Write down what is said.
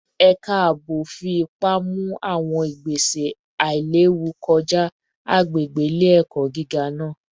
Ẹka aabo fi ipa mu awọn igbese ailewu kọja agbegbe ile-ẹkọ giga naa